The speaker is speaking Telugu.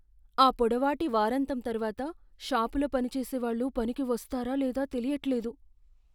ఆ పొడవాటి వారాంతం తర్వాత షాపులో పనిచేసేవాళ్ళు పనికి వస్తారా లేదా తెలియట్లేదు.